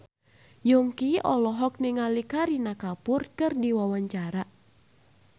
Yongki olohok ningali Kareena Kapoor keur diwawancara